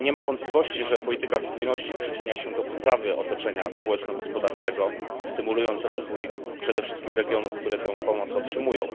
Nie ma wątpliwości, że polityka spójności przyczynia się do poprawy otoczenia społeczno gospodarczego, stymulując rozwój przede wszystkim regionów, które tę pomoc otrzymują.